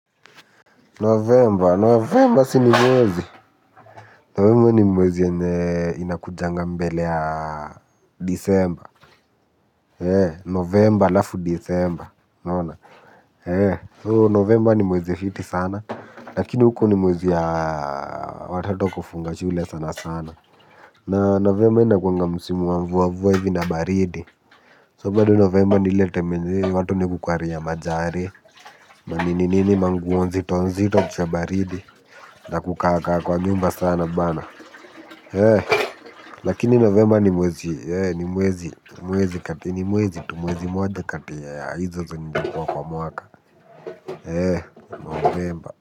Novemba, novemba si ni mwezi, novemba ni mwezi yenye inakujanga mbele ya disemba, novemba alafu disemba, unaona, so novemba ni mwezi fiti sana, lakini huko ni mwezi ya watoto kufunga shule sana sana, na novemba inakuwanga msimu wa mvua mvua hivi na baridi, so bado novemba ni ile time yenye, watu ni kukwari majari, manininini manguo nzito nzito cha baridi, na kukaakaa kwa nyumba sana bana. Lakini novemba ni mwezi. Ni mwezi kati ni mwezi tu mwezi moja kati ya hizo zinazokuwa kwa mwaka eh novemba.